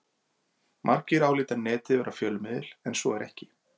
Margir álíta Netið vera fjölmiðil en svo er ekki.